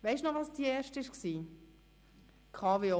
Weisst du noch, Gerhard, welches dein erster Vorstoss war?